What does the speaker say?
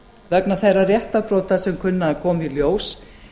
vegna þeirra réttarbrota sem kunna að koma í ljós